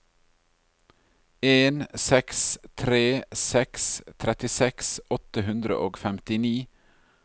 en seks tre seks trettiseks åtte hundre og femtini